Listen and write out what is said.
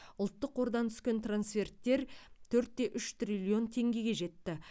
ұлттық қордан түскен трансферттер төрт те үш триллион теңгеге жетті